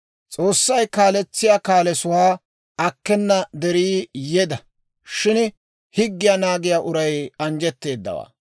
S'oossay kaaletsiyaa kaalesuwaa akkena derii yeda; shin higgiyaa naagiyaa uray anjjetteedawaa.